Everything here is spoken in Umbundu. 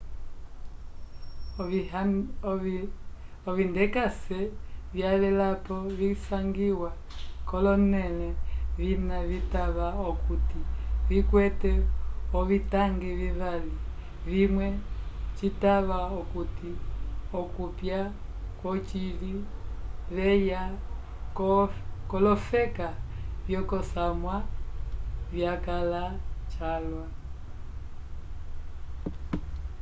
ovindekase vyavelapo visangiwa k'olonẽle vina citava okuti vikwete ovitangi vivali vimwe citava okuti okopya vyocili vyeya k'olofeka vyokosamwa vyakãla calwa